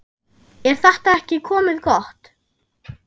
Er þetta ekki komið gott?